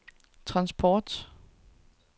transport